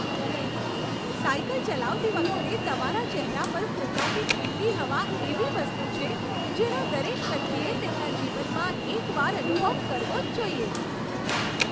Cycle ચલાવતી વખતે તમારા ચહેરા પર ફૂંકાતી ઠંડી હવા એવી વસ્તુ છે, જેનો દરેક વ્યક્તિએ તેમના જીવનમાં એકવાર અનુભવ કરવો જ જોઇએ.